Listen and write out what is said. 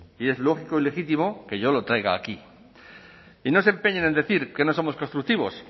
y es lógico y legítimo que yo lo traiga aquí y no se empeñen en decir que no somos constructivos